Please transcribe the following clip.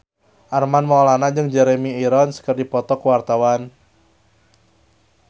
Armand Maulana jeung Jeremy Irons keur dipoto ku wartawan